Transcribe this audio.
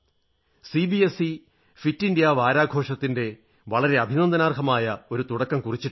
CBSE fit India വാരാഘോഷത്തിന്റെ വളരെ അഭിനന്ദനാർഹമായ ഒരു തുടക്കം കുറിച്ചിട്ടുണ്ട്